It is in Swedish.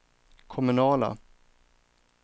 kommunala